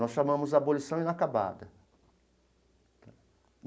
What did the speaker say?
Nós chamamos abolição inacabada.